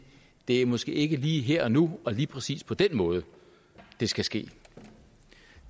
det er måske ikke lige her og nu og lige præcis på den måde det skal ske